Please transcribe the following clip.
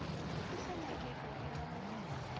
e sa nyakegego ya go